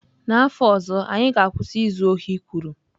N'afọ ọzọ anyị ga-akwụsị izu ohi kwuru.